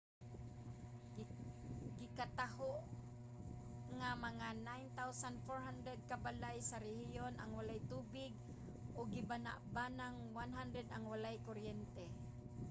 gikataho nga mga 9400 ka balay sa rehiyon ang walay tubig ug gibana-banang 100 ang walay kuryente